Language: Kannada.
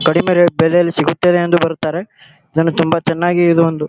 ಕಡಿಮೆ ರೇಟ್ ಬೆಲೆಯಲ್ಲಿ ಸಿಗುತ್ತದೆ ಎಂದು ಬರುತ್ತಾರೆ ಇದನ್ನು ತುಂಬಾ ಚನ್ನಾಗಿ ಇದು ಒಂದು.